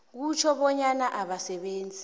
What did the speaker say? kutjho bonyana abasebenzi